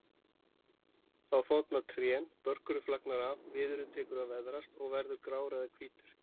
Þá þorna trén, börkurinn flagnar af, viðurinn tekur að veðrast og verður grár eða hvítur.